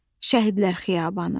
Şəhidlər Xiyabanı.